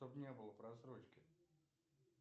чтоб не было просрочки